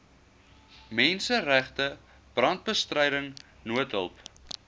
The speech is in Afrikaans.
menseregte brandbestryding noodhulp